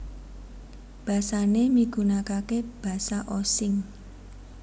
Basané migunakaké Basa Osing